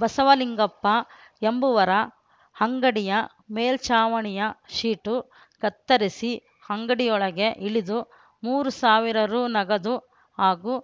ಬಸವಲಿಂಗಪ್ಪ ಎಂಬುವರ ಅಂಗಡಿಯ ಮೇಲ್ಚಾವಣಿಯ ಶೀಟು ಕತ್ತರಿಸಿ ಅಂಗಡಿಯೊಳಗೆ ಇಳಿದು ಮೂರು ಸಾವಿರ ರೂ ನಗದು ಹಾಗೂ